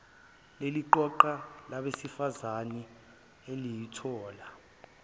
leliqoqo labesifazane eliyothula